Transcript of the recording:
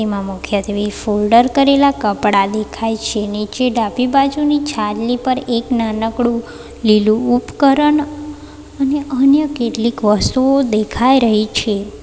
આ મુખ્યત્વે ફોલ્ડર કરેલા કપડાં દેખાય છે નીચે ડાબી બાજુની છાજલી પર એક નાનકડું લીલું ઉપકરણ અને અન્ય કેટલીક વસ્તુઓ દેખાઈ રહી છે.